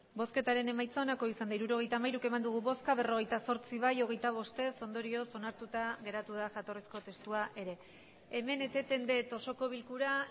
hirurogeita hamairu eman dugu bozka berrogeita zortzi bai hogeita bost ez ondorioz onartuta geratu da jatorrizko testua ere hemen eteten dut osoko bilkura